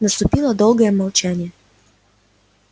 наступило долгое молчание